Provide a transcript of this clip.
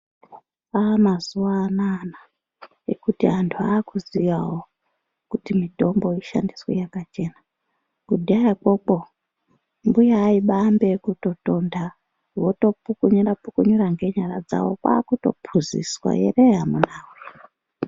Aamazuva anaana ekuti antu aakuziya havo kuti mtombo yoshandiswe yakachena. Kudhayako uko mbuya aibaambe ekutotonda, votopukunyura-pukunyura ngenyara dzavo kwaakutopuzizwa here amunaa.